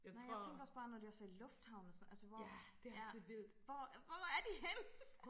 Nej jeg tænker også bare når de også er i lufthavnen og sådan altså hvor ja hvor hvor er de henne?